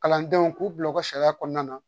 Kalandenw k'u bila u ka sariya kɔnɔna na